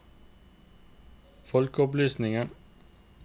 folkeopplysning